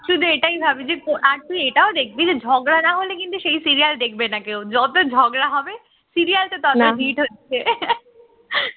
শুধু এটাই ভাবছি আজ তুই এটাও দেখবি যে ঝগড়া না হলে কিন্তু সেই serial দেখবে না কেউ যতই ঝগড়া হবে serial তত hit হচ্ছে